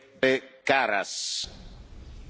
Herr Präsident, meine Damen und Herren!